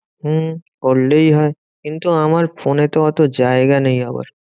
হম করলেই হয়। কিন্তু আমার ফোনে তো অত জায়গা নেই আবার।